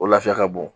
O lafiya ka bon